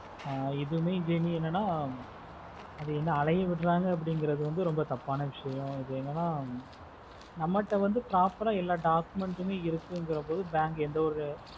எதுல எதையும் என்னனா அது வந்து அலையை விடுறாங்க அப்ப்டின்னுறது வந்து ரொம்ப தப்பான விஷயம் அது என்னனா நம்ம கிட்ட வந்து proper ஆஹ் எல்லா doucments இருக்குன்ற பொது bank எந்த ஒரு